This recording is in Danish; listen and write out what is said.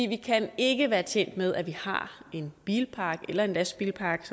vi kan ikke være tjent med at vi har en bilpark eller en lastbilpark